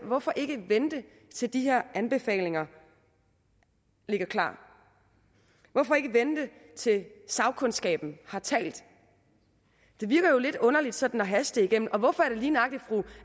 hvorfor ikke vente til de her anbefalinger ligger klar hvorfor ikke vente til sagkundskaben har talt det virker jo lidt underligt sådan at haste det igennem og hvorfor er det lige nøjagtig fru